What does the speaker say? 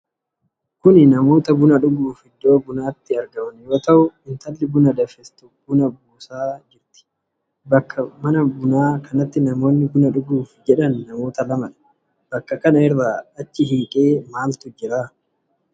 Kun namoota buna dhuguuf iddoo bunaatti argaman yoo ta'u intalli buna danfiftu bun a buusafii jirti. Bakka mana bunaa kanatti namoonni buna dhuguuf jedhan namoota lamadha. Bakka kana irraa achi hiiqee maaltu jira?